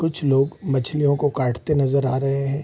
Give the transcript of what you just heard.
कुछ लोग मछलियों को काटते नजर आ रहे है।